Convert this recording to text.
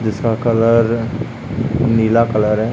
जिसका कलर नीला कलर है।